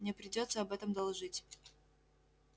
мне придётся об этом доложить